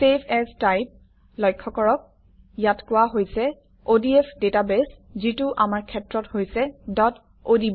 save as type লক্ষ্য কৰক ইয়াত কোৱা হৈছে অডিএফ ডাটাবাছে যিটো আমাৰ ক্ষেত্ৰত হৈছে odb